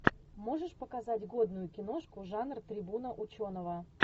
можешь показать годную киношку жанр трибуна ученого